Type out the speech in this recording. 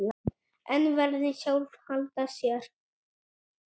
En verðin sjálf halda sér.